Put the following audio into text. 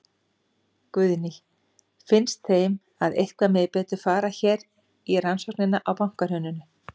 Guðný: Finnst þeim að eitthvað megi betur fara hér í rannsóknina á bankahruninu?